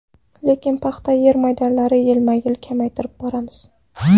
Lekin paxta yer maydonlarini yilma-yil kamaytirib boramiz.